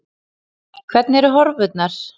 Hvernig eru horfurnar?